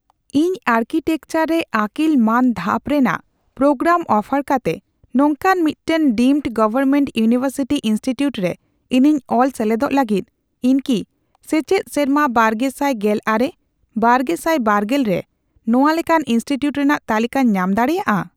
ᱤᱧ ᱟᱨᱠᱤᱴᱮᱠᱪᱟᱨ ᱨᱮ ᱟᱹᱠᱤᱞ ᱢᱟᱱ ᱫᱷᱟᱯ ᱨᱮᱱᱟᱜ ᱯᱨᱳᱜᱨᱟᱢ ᱚᱯᱷᱟᱨ ᱠᱟᱛᱮ ᱱᱚᱝᱠᱟᱱ ᱢᱤᱫᱴᱟᱝ ᱰᱤᱢᱰ ᱜᱚᱣᱚᱨᱢᱮᱱᱴ ᱤᱭᱩᱱᱤᱣᱮᱨᱥᱤᱴᱤ ᱤᱱᱥᱴᱤᱴᱤᱭᱩᱴ ᱨᱮ ᱤᱧᱤᱧ ᱚᱞ ᱥᱮᱞᱮᱫᱚᱜ ᱞᱟᱹᱜᱤᱫ, ᱤᱧ ᱠᱤ ᱥᱮᱪᱮᱫ ᱥᱮᱨᱢᱟ ᱵᱟᱨᱜᱮᱥᱟᱭ ᱜᱮᱞ ᱟᱨᱮ ᱼᱵᱟᱨᱜᱮᱥᱟᱭ ᱵᱟᱨᱜᱮᱞ ᱨᱮ ᱱᱚᱣᱟ ᱞᱮᱠᱟᱱ ᱤᱱᱥᱴᱤᱴᱤᱭᱩᱴ ᱨᱮᱱᱟᱜ ᱛᱟᱞᱤᱠᱟᱧ ᱧᱟᱢ ᱫᱟᱲᱮᱭᱟᱜᱼᱟ ?